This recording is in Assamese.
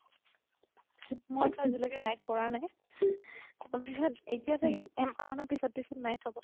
মইটো আজি লৈকে night কৰা নাই তাৰ পিছত এতিয়া চাগে মানৰ পিছত night হ'ব